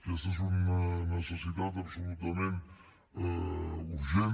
aquesta és una necessitat absolutament urgent